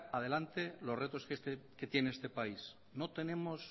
adelante los retos que tiene este país no tenemos